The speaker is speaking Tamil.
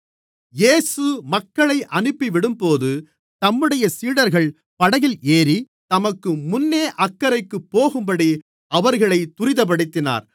இயேசு மக்களை அனுப்பிவிடும்போது தம்முடைய சீடர்கள் படகில் ஏறி தமக்கு முன்னே அக்கரைக்குப் போகும்படி அவர்களைத் துரிதப்படுத்தினார்